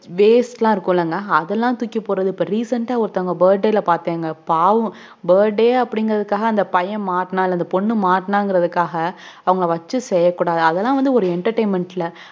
weaste லாம் இருக்கும்ல அத தூக்கிபோடுறது recent ஆஹ் ஒருத்தவங்க burday ல பாத்தீங்கனா பாவோம burday அபுடிங்குறது க்காக அன்டாஹ் பைபயன்மாட்னா அந்த பொண்ணு மாட்னாங்குறதுக்காக அவங்கள வச்சு செய்யகூடாது அத்தளாம்ஒரு entertainment